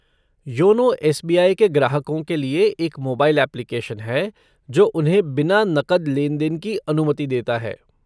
YONO S B I के ग्राहकों के लिए एक मोबाइल एप्लीकेशन है जो उन्हें बिना नकद लेन देन की अनुमति देता है।